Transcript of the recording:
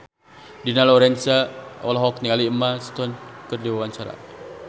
Dina Lorenza olohok ningali Emma Stone keur diwawancara